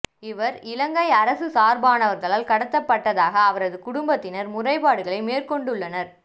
இவர் இலங்கை அரசு சார்பானவர்களால் கடத்தப்பட்டதாக அவரது குடும்பத்தினர் முறைப்பாடுகளை மேற்கொண்டுள்ளனர்